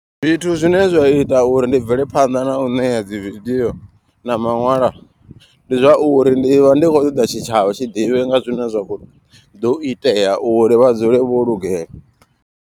Zwithu zwine zwa ita uri ndi bvele phanḓa na u ṋea dzi video na maṅwalwa. Ndi zwauri ndi vha ndi khou ṱoḓa tshitshavha tshi ḓivhe nga zwine zwa kho ḓo itea uri vha dzule vho lugela.